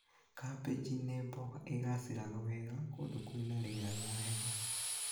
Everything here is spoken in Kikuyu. Kambĩji nĩ mboga ĩgaacĩraga wega kũndũ kwĩna rĩera rĩa heho